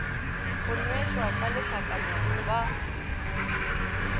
go nwešwa ka lehlakana ba